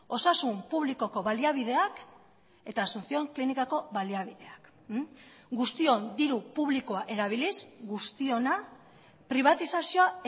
osasun publikoko baliabideak eta asunción klinikako baliabideak guztion diru publikoa erabiliz guztiona pribatizazioa